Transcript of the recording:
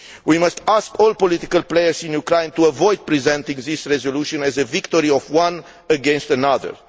We must ask all political players in Ukraine to avoid presenting this resolution as a victory of one against another.